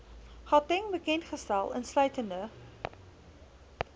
gauteng bekendgestel insluitende